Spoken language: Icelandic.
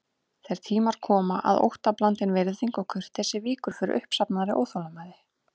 Þeir tímar koma að óttablandin virðing og kurteisi víkur fyrir uppsafnaðri óþolinmæði.